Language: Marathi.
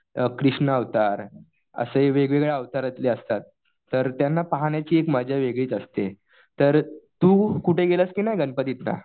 कृष्ण अवतार असे वेगेवेगळ्या अवतारातले असतात. तर त्यांना पाहण्याची मजा एक वेगळीच असते. तर तू कुठे गेलास कि नाही गणपतीत या?